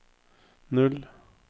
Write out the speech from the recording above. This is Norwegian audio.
null